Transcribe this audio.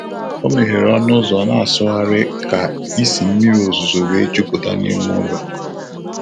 Ọ meghere ọnụ ụzọ na-asụgharị ka isi mmiri ozuzo wee jupụta n'ime ụlọ.